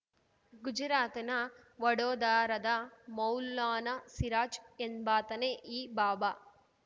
ಗುಜರಾತನ ವಡೋದರಾದ ಮೌಲಾನಾ ಸಿರಾಜ್‌ ಎಂಬಾತನೇ ಈ ಬಾಬಾ